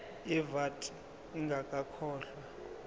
ye vat ingakakhokhwa